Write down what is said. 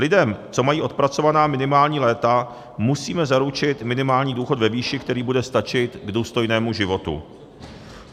Lidem, co mají odpracovaná minimální léta, musíme zaručit minimální důchod ve výši, který bude stačit k důstojnému životu.